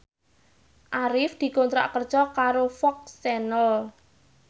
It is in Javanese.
Arif dikontrak kerja karo FOX Channel